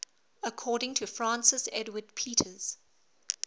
according to francis edwards peters